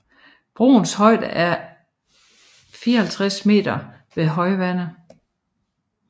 Broens højde er 54 m ved højvande